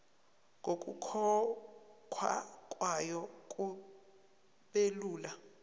nokukhokhwa kwayo kubelula